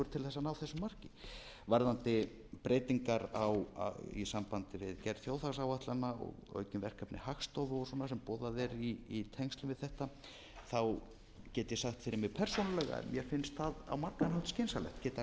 til þess að ná þessu marki varðandi breytingar í sambandi við gerð þjóðhagsáætlana og aukin verkefni hagstofu og svona sem boðað er í tengslum við þetta get ég sagt fyrir mig persónulega að mér finnst það á margan hátt skynsamlegt get alveg